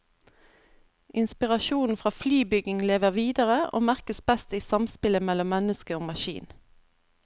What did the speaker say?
Inspirasjonen fra flybygging lever videre, og merkes best i samspillet mellom menneske og maskin.